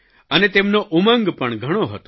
અને તેમનો ઉમંગ પણ ઘણો હતો